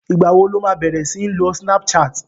Ìgbà wo lo má bẹ̀rẹ̀ sí ń lo snapchat?